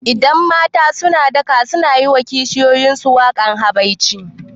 Idan mata suna daka sunayi wa kishiyuyin su wakan habaici